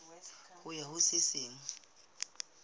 ho ya ho se seng